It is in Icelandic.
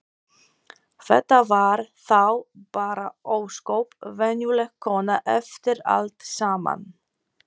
Þetta var þá bara ósköp venjuleg kona eftir allt saman.